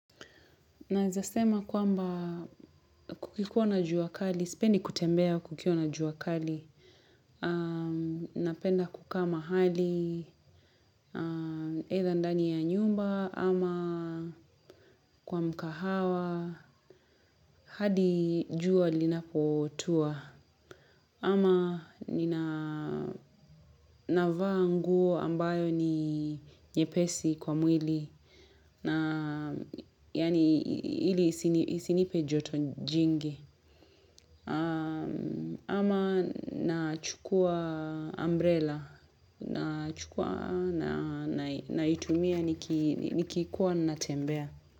Naezasema kwamba kukiwa na jua kali, sipendi kutembea kukiwa na jua kali. Napenda kukaa mahali, aidha ndani ya nyumba, ama kwa mkahawa, hadi jua linapotua. Ama ninavaa nguo ambayo ni nyepesi kwa mwili, yaani hili isinipe joto jingi. Ama nachukua umbrella nachukua naitumia nikikuwa natembea.